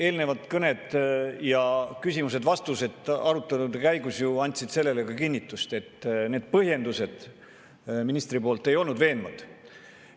Eelnevad kõned ja küsimused-vastused arutelude käigus andsid ju sellele kinnitust – ministri põhjendused ei olnud veenvad.